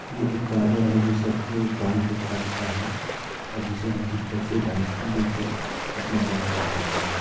ये एक बार्बर है जो सबके बाल को काटता है और जिसे हम कुछ पैसे डाल देके अपना बाल कटवाते है।